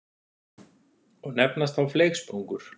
og nefnast þá fleygsprungur.